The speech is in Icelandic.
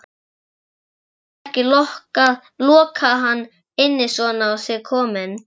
Þið getið ekki lokað hann inni svona á sig kominn